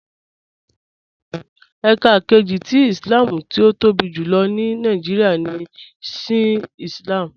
Ẹká kẹjì tì Ìslám tí ó tóbi júlọ̀ ní Nàìjíríà ní Shià Ìslám